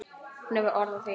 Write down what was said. Hún hefur orð á því.